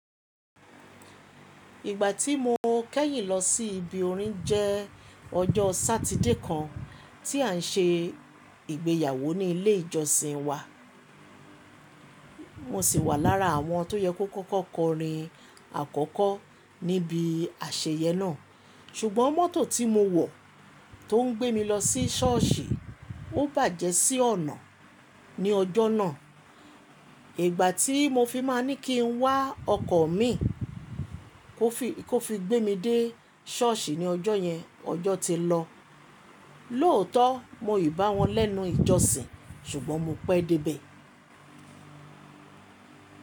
Ìgbà tí mo kẹ́yìn lọ sí ibi orin jẹ́ ọjọ́ Sátidé kan tí à ń se ìgbéyàwó ní ilé ìjọsìn wa. Mo sì wà lára àwọn tó yẹ kó kọ́kọ́ kọrin àkọ́kọ́ níbi àṣeyẹ náà. Ṣùgbọ́n mọ́tò tí mo wọ̀ tó ń gbé mi lọ sí sọ́ọ̀sì, ó bàjẹ́ sí ọ̀nà ní ọjọ́ náà. Ìgbà tí mo fi máa ní kí ń wá ọkọ̀ mi kó fi gbé mi dé sọ́ọ̀sì ní ọjọ́ yẹn, ọjọ́ ti lọ. Lóòótọ́ mo ìbá wọn lẹ́nu ìjọsìn, ṣùgbọ́n mo pẹ́ dé ibẹ̀.